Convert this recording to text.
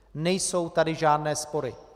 Nejsou tady žádné spory.